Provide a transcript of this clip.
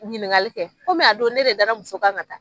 Ɲiniŋali kɛ komi a don ne de dara muso kan ŋa taa